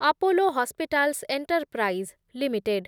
Apollo Hospitals Enterprise limited